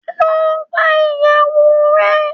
Lọ gbá ìyèwù rẹ.